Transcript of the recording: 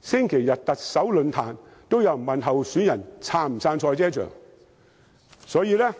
星期日舉行的特首論壇上，也有人詢問候選人是否支持興建賽車場。